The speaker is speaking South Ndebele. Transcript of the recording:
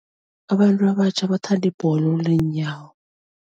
Abantu abatjha bathanda ibholo leenyawo.